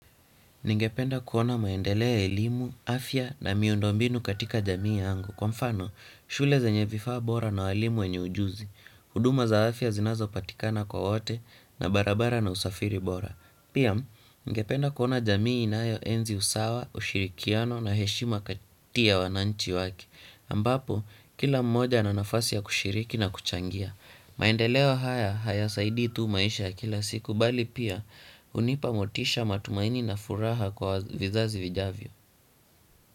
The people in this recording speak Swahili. Ningependa kuona maendeleo ya elimu, afya na miundombinu katika jamii yangu. Kwa mfano, shule zenye vifaa bora na walimu wenye ujuzi. Huduma za afya zinazo patikana kwa wote na barabara na usafiri bora. Pia, ningependa kuona jamii inayo enzi usawa, ushirikiano na heshima kati ya wananchi wake. Ambapo, kila mmoja ana nafasi ya kushiriki na kuchangia. Maendeleo haya hayasaidii tu maisha kila siku bali pia hunipamotisha matumaini na furaha kwa vizazi vijavyo.